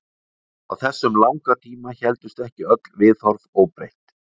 Á þessum langa tíma héldust ekki öll viðhorf óbreytt.